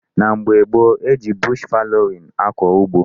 N'oge gboo, e ji bush fallowing akọ ugbo.